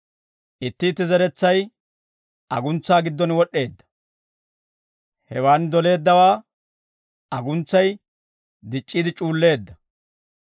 Itti itti zeretsay aguntsaa giddon wod'd'eedda; hewaan doleeddawaa aguntsay dic'c'iide c'uulleedda.